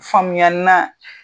Faamuya na